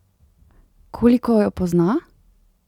Koliko jo pozna?